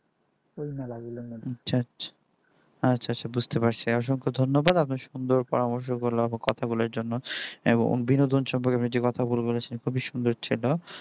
আচ্ছা আচ্ছা বুঝতে পারছি অসংখ্য ধন্যবাদ আপনার সুন্দর পরামর্শ কথা বলার জন্য এবং বিনোদন সম্পর্কে যে কথাগুলো বলেছেন খুবই সুন্দর ছিল